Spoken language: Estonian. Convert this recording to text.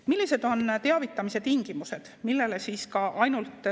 Millised on teavitamise tingimused?